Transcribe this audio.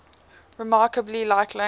remarkably like language